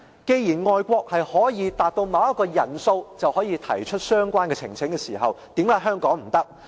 既然外國的做法是當達到某一個人數就可以提出相關呈請時，為何香港不可以？